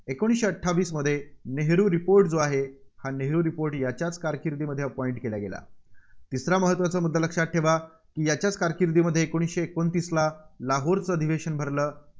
एकोणीसशे अठ्ठावीसमध्ये नेहरू report जो आहे, हा नेहरू report याच्याच कारकिर्दीमध्ये appoint केला गेला. तिसरा महत्त्वाचा मुद्दा लक्षात ठेवा, की याच्याच कारकिर्दीमध्ये एकोणीसशे एकोणतीसला लाहोरचं अधिवशन भरलं